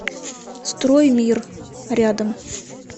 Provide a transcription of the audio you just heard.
строй мир рядом